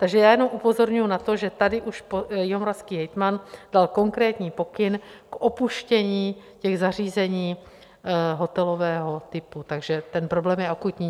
Takže já jenom upozorňuji na to, že tady už jihomoravský hejtman dal konkrétní pokyn k opuštění těch zařízení hotelového typu, takže ten problém je akutní.